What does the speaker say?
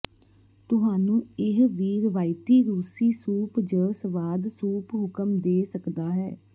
ਤੁਹਾਨੂੰ ਇਹ ਵੀ ਰਵਾਇਤੀ ਰੂਸੀ ਸੂਪ ਜ ਸਵਾਦ ਸੂਪ ਹੁਕਮ ਦੇ ਸਕਦਾ ਹੈ